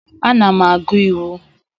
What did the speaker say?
Ana m agụ Iwu.